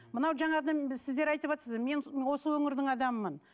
мынау сіздер айтыватырсыздар мен осы өңірдің адамымын